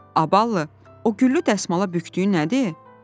“Abəllı, o güllü dəsmala bükdüyün nədir?”